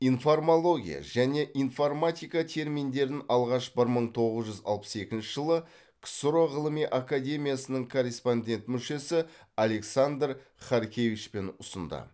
информология және информатика терминдерін алғаш бір мың тоғыз жүз алпыс екінші жылы ксро ғылыми акаемиясының корреспондент мүшесі александр харкевичпен ұсынды